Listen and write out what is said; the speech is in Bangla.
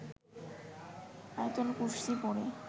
আয়াতুল কুরশি পড়ে